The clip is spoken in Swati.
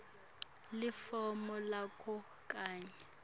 lifomu lakho kanye